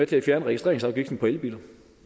til at fjerne registreringsafgiften på elbiler